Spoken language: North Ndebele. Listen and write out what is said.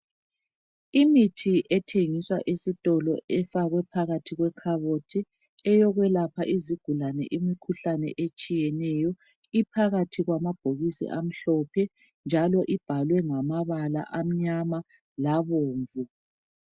Imithi ethengiswa esitolo ifakwe phakathi wekhabothi. Eyokwelapha izigulane imikhuhlane etshiyeneyo. Iphakathi kwamabhokisi amhlophenjalo ibhalwe ngamabala amnyama labomvu